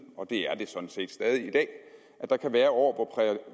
og det er det sådan set stadig i dag der kan være år